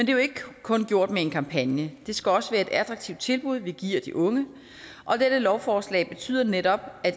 er jo ikke kun gjort med en kampagne det skal også være et attraktivt tilbud vi giver de unge og dette lovforslag betyder netop